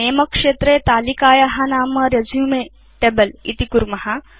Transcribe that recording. नमे क्षेत्रे तालिकाया नाम रेसुमे टेबल इति कुर्म